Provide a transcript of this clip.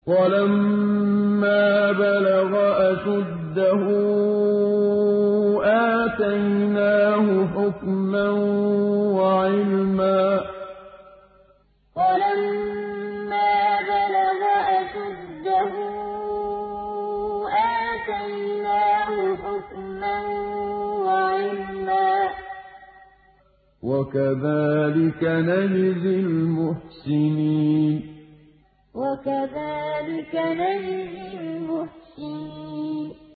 وَلَمَّا بَلَغَ أَشُدَّهُ آتَيْنَاهُ حُكْمًا وَعِلْمًا ۚ وَكَذَٰلِكَ نَجْزِي الْمُحْسِنِينَ وَلَمَّا بَلَغَ أَشُدَّهُ آتَيْنَاهُ حُكْمًا وَعِلْمًا ۚ وَكَذَٰلِكَ نَجْزِي الْمُحْسِنِينَ